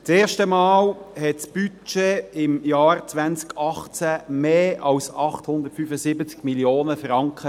Zum ersten Mal betrug das Budget im Jahr 2018 mehr als 875 Mio. Franken.